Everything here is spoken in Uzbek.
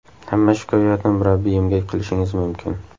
Hamma shikoyatni murabbiyimga qilishingiz mumkin.